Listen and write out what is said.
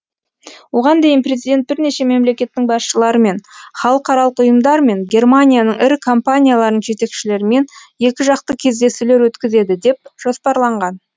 оған дейін президент бірнеше мемлекеттің басшыларымен халықаралық ұйымдар мен германияның ірі компанияларының жетекшілерімен екіжақты кездесулер өткізеді деп жоспарланған